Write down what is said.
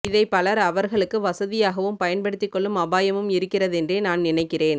இதை பலர் அவர்களுக்கு வசதியாகவும் பயன்படுத்திக்கொள்ளும் அபாயமும் இருகின்றதென்றே நான் நினைக்கிறேன்